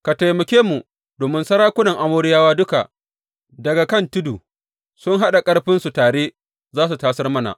Ka taimake mu domin sarakunan Amoriyawa duka daga kan tudu sun haɗa ƙarfinsu tare za su tasar mana.